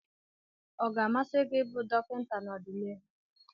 Ọ ga-amasị gị ịbụ dọkịta n'ọdịnihu?